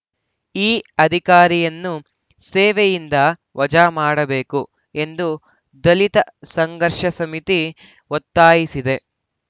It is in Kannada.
ಈ ಅಧಿಕಾರಿಯನ್ನು ಸೇವೆಯಿಂದ ವಜಾ ಮಾಡಬೇಕು ಎಂದು ದಲಿತ ಸಂಘರ್ಷ ಸಮಿತಿ ಒತ್ತಾಯಿಸಿದೆ